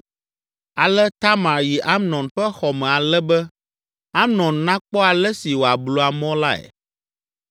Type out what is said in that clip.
Ale Tamar yi Amnon ƒe xɔ me ale be Amnon nakpɔ ale si wòablu amɔ lae.